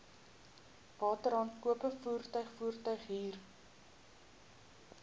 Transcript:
wateraankope werktuig voertuighuur